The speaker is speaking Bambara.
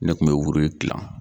Ne kun bɛ wuri gilan.